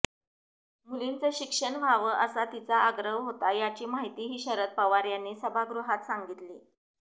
मुलींचं शिक्षण व्हावं असा तिचा आग्रह होता याची माहितीही शरद पवार यांनी सभागृहात सांगितली